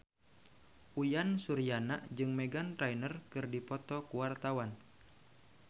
Uyan Suryana jeung Meghan Trainor keur dipoto ku wartawan